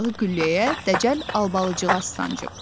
bayrağı gülləyə dəcəl Albalıcıqaz sancıb.